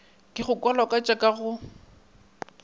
ke go kwalakwatšwa ka go